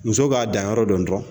Muso k'a danyɔrɔ dɔn dɔrɔn